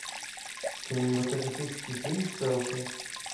кинематографический фильм селфи